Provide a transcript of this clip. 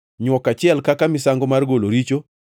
nywok achiel kaka misango mar golo richo;